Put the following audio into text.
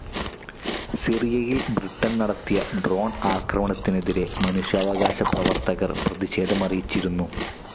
സിറിയയിൽ ബ്രിട്ടൻ നടത്തിയ ഡ്രോൺ ആക്രമണത്തിനെതിരേ മനുഷ്യാവകാശ പ്രവർത്തകർ പ്രതിഷേധമറിയിച്ചിരുന്നു.